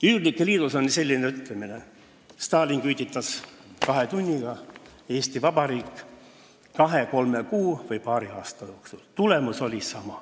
Üürnike liidus on selline ütlemine: Stalin küüditas kahe tunniga, Eesti Vabariik kahe-kolme kuu või paari aasta jooksul, tulemus oli sama.